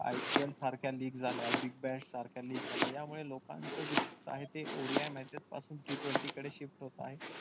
IPL सारख्या league झाल्या big bash सारख्या league झाल्या यामुळे लोकांच जे चित्त आहे ते ODImatches पासून t twenty कडे shift होत आहे.